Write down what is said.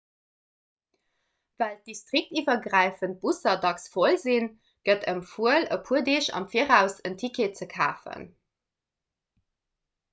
well d'distriktiwwergräifend busser dacks voll sinn gëtt empfuel e puer deeg am viraus en ticket ze kafen